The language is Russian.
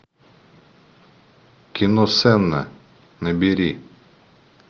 кино сенна набери